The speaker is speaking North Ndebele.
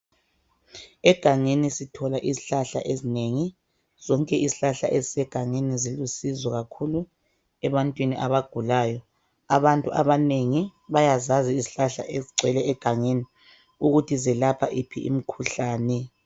Egangeni sithola izihlahla ezinengi, zonke izihlahla ezisegangeni silusizo kakhulu ebantwini abagulayo. Abantu abanengi bayazazi izihlahla ezigcwele egangeni ukuthi zelapha yiphi imkhuhlane.